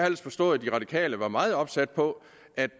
ellers forstået at de radikale var meget opsat på at